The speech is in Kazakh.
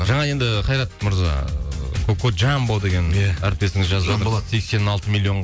жаңа енді қайрат мырза ыыы кокоджамбо деген әріптесіңіз жазып жатыр сексен алты миллион